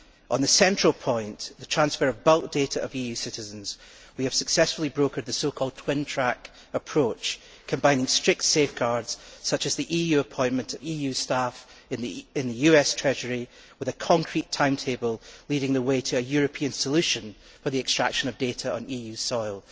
On the central point, the transfer of bulk data of EU citizens, we have successfully brokered the so called twin track approach, combining strict safeguards, such as the EU appointment of EU staff in the US Treasury, with a concrete timetable leading the way to a European solution for the extraction of data on EU soil.